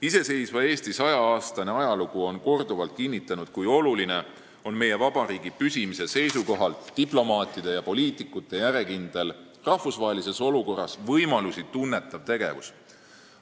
Iseseisva Eesti 100 aasta pikkune ajalugu on korduvalt kinnitanud, kui oluline on meie vabariigi püsimise seisukohalt diplomaatide ja poliitikute järjekindel rahvusvahelistes olukordades oma võimalusi tunnetav tegevus.